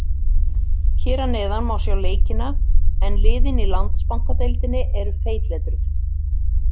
Hér að neðan má sjá leikina en liðin í Landsbankadeildinni eru feitletruð.